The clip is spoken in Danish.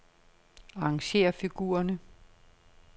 Arrangér figurerne.